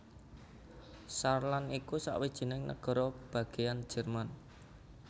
Saarland iku sawijining nagara bagéyan Jerman